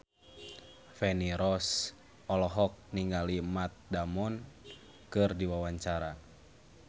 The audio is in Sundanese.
Feni Rose olohok ningali Matt Damon keur diwawancara